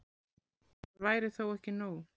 Það væri þó ekki nóg.